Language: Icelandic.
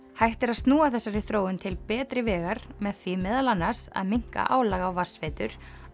hægt er að snúa þessarri þróun til betri vegar með því meðal annars að minnka álag á vatnsveitur